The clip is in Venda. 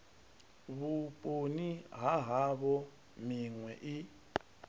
vhuponi ha havho minwe i